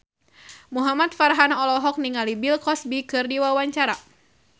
Muhamad Farhan olohok ningali Bill Cosby keur diwawancara